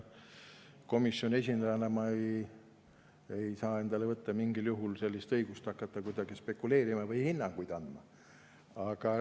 Komisjoni esindajana ei saa ma endale mingil juhul võtta õigust hakata kuidagi spekuleerima või hinnanguid andma.